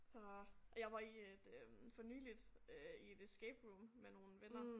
Og og jeg var i et øh for nyligt øh i et escape room med nogle venner